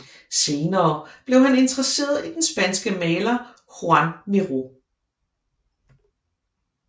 Senere blev han interesseret i den spanske maler Joan Miró